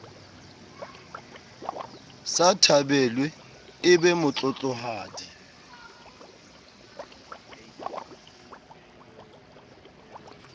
sa thabelwe e be motlotlohadi